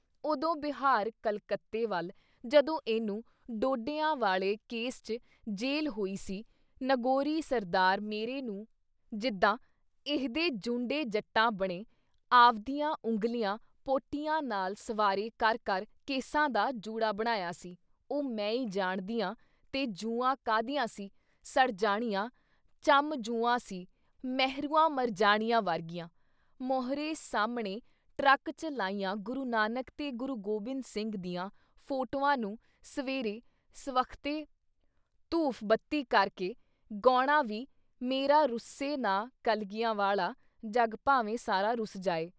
ਉਦੋਂ ਬਿਹਾਰ ਕਲਕੱਤੇ ਵੱਲ ਜਦੋਂ ਇਹਨੂੰ ਡੋਡਿਆਂ ਵਾਲੇ ਕੇਸ 'ਚ ਜੇਲ੍ਹ ਹੋਈ ਸੀ ਨਗੌਰੀ ਸਰਦਾਰ ਮੇਰੇ ਨੂੰ ਜਿੱਦਾਂ ਇਹਦੇ ਜੁੰਡੇ ਜਟਾਂ ਬਣੇ ਆਵਦੀਆਂ ਉਂਗਲੀਆਂ ਪੋਟਿਆਂ ਨਾਲ ਸਵਾਰ੍ਹੇ ਕਰ ਕਰ ਕੇਸਾਂ ਦਾ ਜੂੜਾ ਬਣਾਇਆ ਸੀ ਉਹ ਮੈਂ ਈ ਜਾਣਦੀ ਆਂ ਤੇ ਜੂਆਂ ਕਾਹਦੀਆਂ ਸੀ, ਸੜ ਜਾਣੀਆਂ ਚੰਮਜੂਆਂ ਸੀ ਮਹਿਰੂਆਂ ਮਰ-ਜਾਣਿਆਂ ਵਰਗੀਆਂ। ਮੋਹਰੇ ਸਾਹਮਣੇ ਟਰੱਕ ਚ ਲਾਈਆਂ ਗੁਰੂ ਨਾਨਕ ਤੇ ਗੁਰੂ ਗੋਬਿੰਦ ਸਿੰਘ ਦੀਆਂ ਫੋਟੋਆਂ ਨੂੰ ਸਵੇਰੇ ਸਵਖ਼ਤੇ ਧੂਫ਼ ਬੱਤੀ ਕਰਕੇ ਗੋਣਾ ਵੀ "ਮੇਰਾ ਰੁੱਸੇ ਨਾ ਕਲਗੀਆਂ ਵਾਲਾ, ਜੱਗ ਭਾਵੇਂ ਸਾਰਾ ਰੁੱਸ ਜਾਏ।"